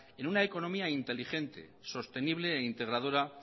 en una economía inteligente sostenible e integradora